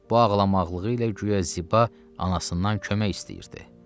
Bu ağlamaqlığı ilə güya Ziba anasından kömək istəyirdi.